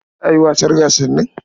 Za a yi gasar wasannin?